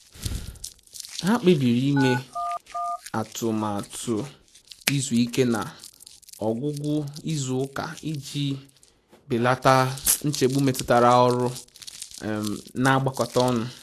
Ha kpebiri ime atụmatụ izu ike na ọgwụgwụ izu ụka iji belata nchegbu metụtara ọrụ um na-agbakọta ọnụ